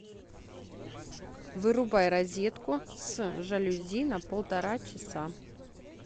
вырубай розетку с жалюзи на полтора часа